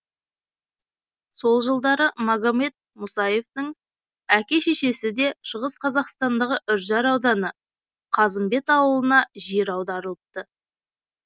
сол жылдары магомед мусаевтың әке шешесі де шығыс қазақстандағы үржар ауданы қазымбет ауылына жер аударылыпты